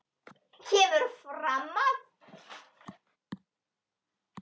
kemur fram að